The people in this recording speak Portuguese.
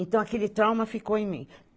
Então, aquele trauma ficou em mim.